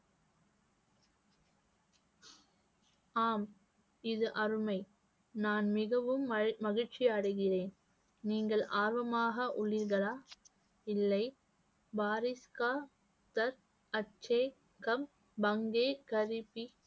ஆம் இது அருமை நான் மிகவும் மகி~ மகிழ்ச்சி அடைகிறேன் நீங்கள் ஆர்வமாக உள்ளீர்களா இல்லை